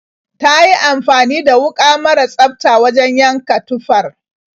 Ta yi amfani da wuƙa mara tsafta wajen yanka tufar.